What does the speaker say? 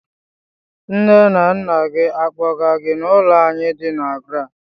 Nne na nna gị akpọga gị n'ụlọ anyị di na GRA?